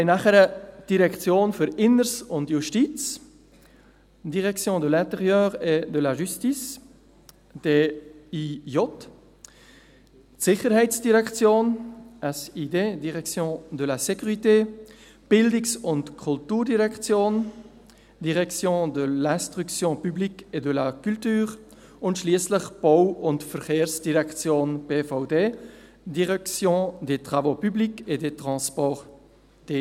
Dann haben wir die «Direktion für Inneres und Justiz» beziehungsweise «Direction de l’intérieur et de la justice (DIJ), die «Sicherheitsdirektion (SID)» beziehungsweise «Direction de la sécurité», die «Bildungs- und Kulturdirektion» beziehungsweise «Direction de l’instruction publique et de la culture» und schliesslich die «Bau- und Verkehrsdirektion (BVD)», beziehungsweise «Direction des travaux publics et des transports (DTT)».